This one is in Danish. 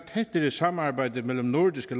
tættere samarbejde mellem nordiske